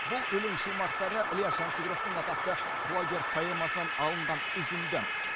бұл өлең шумақтары ілияс жансүгіровтің атақты құлагер поэмасынан алынған үзінді